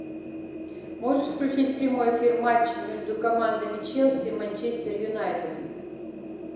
можешь включить прямой эфир матча между командами челси и манчестер юнайтед